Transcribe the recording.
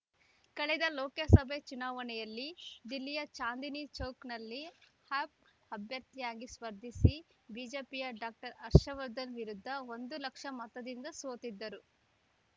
ಕಳೆದ ಲೋಕಸಭೆ ಚುನಾವಣೆಯಲ್ಲಿ ದಿಲ್ಲಿಯ ಚಾಂದನಿ ಚೌಕ್‌ನಲ್ಲಿ ಆಪ್‌ ಅಭ್ಯರ್ಥಿಯಾಗಿ ಸ್ಪರ್ಧಿಸಿ ಬಿಜೆಪಿಯ ಡಾಕ್ಟರ್ ಹರ್ಷವರ್ಧನ್‌ ವಿರುದ್ಧ ಒಂದು ಲಕ್ಷ ಮತದಿಂದ ಸೋತಿದ್ದರು